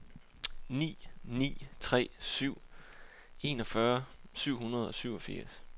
ni ni tre syv enogfyrre syv hundrede og syvogfirs